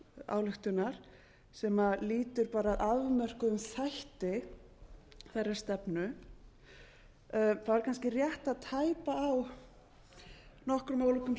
ályktunar sem lýtur bara afmörkuðum þætti þeirrar stefnu er kannski rétt að tæpa á nokkrum ólíkum